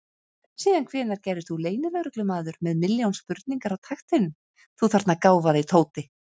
Síðan hvenær gerðist þú leynilögreglumaður með milljón spurningar á takteinum, þú þarna gáfaði Tóti!